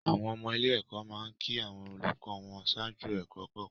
Àwọn ọmọ ilé-ẹ̀kọ́ máa ń kí àwọn olùkọ́ wọn ṣáájú ẹ̀kọ́ kọ̀ọ̀kan.